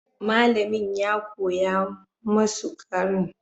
Malamin ya koya masu karin magana.